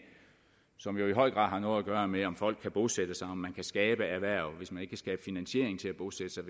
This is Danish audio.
som jo i høj grad har noget at gøre med om folk kan bosætte sig om man kan skabe erhverv hvis man ikke kan skabe finansiering til at bosætte sig